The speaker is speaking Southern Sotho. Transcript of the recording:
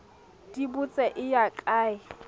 di botse e ya kae